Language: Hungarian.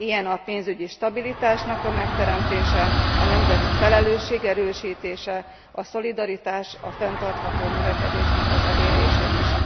Ilyen a pénzügyi stabilitásnak a megteremtése, a nemzeti felelősség erősítése, a szolidaritás, a fenntartható növekedésnek az elérése is.